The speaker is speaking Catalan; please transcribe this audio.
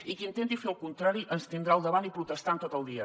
i qui intenti fer el contrari ens tindrà al davant i protestant tot el dia